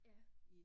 Ja